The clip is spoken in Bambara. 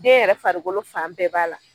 Den yɛrɛ farikolo fan bɛɛ b'a la.